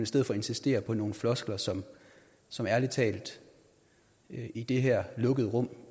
stedet for at insistere på nogle floskler som som ærlig talt i det her lukkede rum